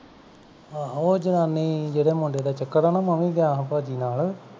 ਆਹੋ ਉਹ ਜਨਾਨੀ ਜਿਹੜੇ ਮੁੰਡੇ ਦਾ ਚਕਰ ਹੈ ਨਾ ਮੈਂ ਵੀ ਗਿਆ ਸਾਂ ਭਾਜੀ ਨਾਲ